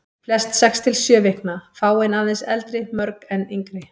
Flest sex til sjö vikna, fáein aðeins eldri, mörg enn yngri.